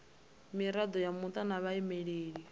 mirado ya muta na vhaimeleli